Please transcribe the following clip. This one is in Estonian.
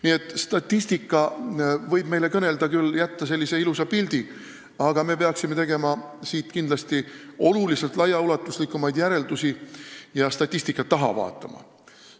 Nii et statistika võib meile küll jätta sellise ilusa pildi, aga me peaksime tegema oluliselt laiaulatuslikumaid järeldusi ja statistika taha vaatama.